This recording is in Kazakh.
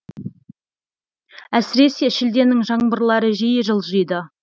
әсіресе шілденің жаңбырлары жиі жылжиды